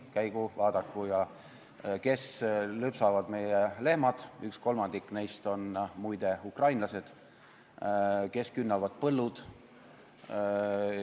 Käigu ja vaadaku, kes lüpsavad meie lehmad – kolmandik neist on muide ukrainlased – ja kes künnavad põllud.